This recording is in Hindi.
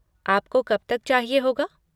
आपको कब तक चाहिए होगा?